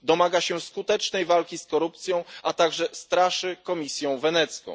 Domaga się skutecznej walki z korupcją, a także straszy Komisją Wenecką.